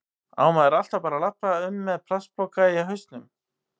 Á maður alltaf bara að labba um með plastpoka á hausnum?